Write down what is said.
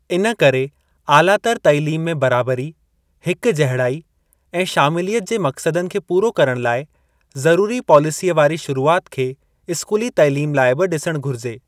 इन करे आलातर तइलीम में बराबरी, हिक जहिड़ाई ऐं शामिलियत जे मक़्सदनि खे पूरो करण लाइ ज़रूरी पॉलिसीअ वारी शुरूआति खे स्कूली तइलीम लाइ बि ॾिसणु घुरिजे।